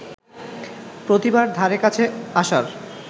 প্রতিভার ধারে কাছে আসার